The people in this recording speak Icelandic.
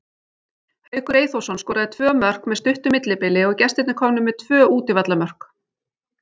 Haukur Eyþórsson skoraði tvö mörk með stuttu millibili og gestirnir komnir með tvö útivallarmörk.